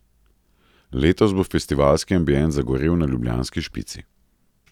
Letos bo festivalski ambient zagorel na ljubljanski Špici.